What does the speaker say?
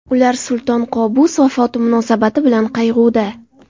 Ular Sulton Qobus vafoti munosabati bilan qayg‘uda.